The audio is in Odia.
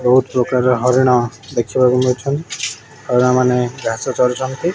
ବୋହୁତ୍ ପ୍ରକାର ହରିଣ ଦେଖିବାକୁ ମିଲୁଚନ୍ତି ହରିଣ ମାନେ ଘାସ ଚରୁଚନ୍ତି।